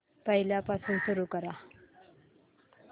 पहिल्यापासून सुरू कर